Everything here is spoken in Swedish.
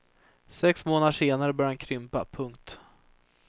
Sex månader senare börjar han krympa. punkt